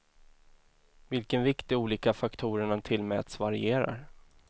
Vilken vikt de olika faktorerna tillmäts varierar.